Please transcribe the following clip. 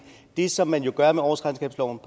det som man jo gør med årsregnskabslovens